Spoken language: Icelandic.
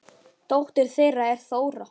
Dóttir þeirra er Þóra.